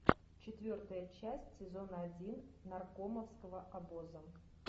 четвертая часть сезона один наркомовского обоза